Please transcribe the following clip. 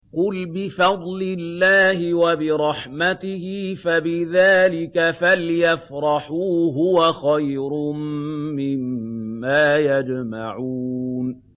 قُلْ بِفَضْلِ اللَّهِ وَبِرَحْمَتِهِ فَبِذَٰلِكَ فَلْيَفْرَحُوا هُوَ خَيْرٌ مِّمَّا يَجْمَعُونَ